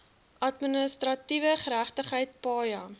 administratiewe geregtigheid paja